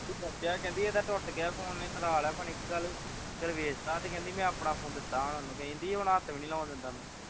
ਦੱਸਿਆ ਕਹਿੰਦੀ ਇਹ ਦਾ ਟੁੱਟ ਗਿਆ phone ਉਸ ਨੇ ਤੁੜਵਾ ਲਿਆ ਪਤਾ ਨਹੀਂ ਕੀ ਗੱਲ ਹੋਈ ਖ਼ਰੇ ਵੇਚ ਤਾਂ ਪਤਾ ਨਹੀਂ ਕੀ ਗੱਲ ਹੋਈ ਤੇ ਕਹਿੰਦੇ ਮੈਂ ਆਪਣਾ phone ਦਿੱਤਾ ਸਾਨੂੰ ਕਹਿੰਦੀ ਹੁਣ ਹੱਥ ਵੀ ਨਹੀਂ ਲਾਉਣ ਦਿੰਦਾ